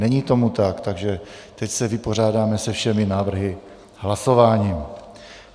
Není tomu tak, takže teď se vypořádáme se všemi návrhy hlasováním.